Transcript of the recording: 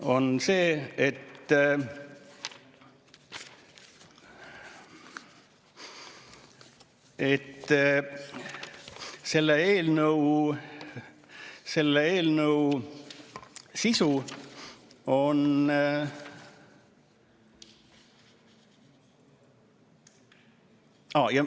Oluline on see, et selle eelnõu sisu on ...